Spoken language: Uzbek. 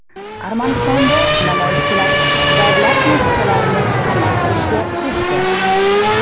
Armanistonda namoyishchilar davlat muassasalarini qamal qilishga kirishdi.